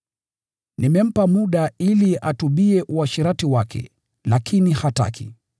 Nimempa muda ili atubu kwa ajili ya uasherati wake, lakini hataki.